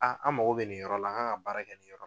A an mago bɛ nin yɔrɔ la an kan ka baara kɛ nin yɔrɔ